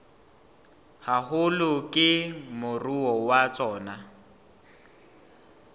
haholo ke moruo wa tsona